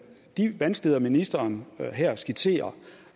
vanskeligheder ministeren her skitserer